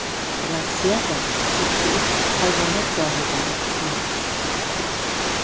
Rossiyada xususiy hayvonot bog‘idan tuyaqush qochib ketdi.